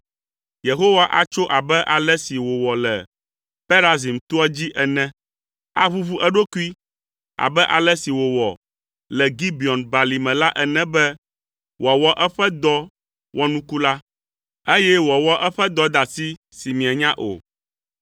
Yehowa atso abe ale si wòwɔ le Perazim toa dzi ene. Aʋuʋu eɖokui abe ale si wòwɔ le Gibeon Balime la ene be wòawɔ eƒe dɔ wɔnuku la, eye wòawɔ eƒe dɔdeasi si mienya o.